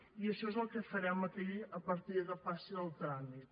i això és el que farem aquí a partir que passi el tràmit